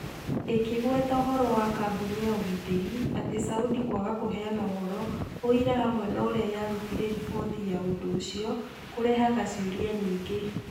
ĩkĩgweta ũhoro wa kambũni ya ũgitĩri atĩ Saudi kwaga kũheana ũhoro, ũira hamwe na ũrĩa yarutire riboti ya ũndũ ũcio, kũrehaga ciũria nyingĩ